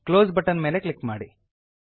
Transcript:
close button ಮೇಲೆ click ಮಾಡಿ